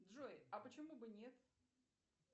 джой а почему бы нет